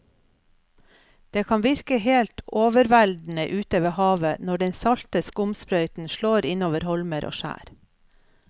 Det kan virke helt overveldende ute ved havet når den salte skumsprøyten slår innover holmer og skjær.